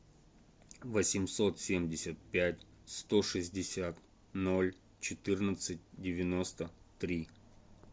восемьсот семьдесят пять сто шестьдесят ноль четырнадцать девяносто три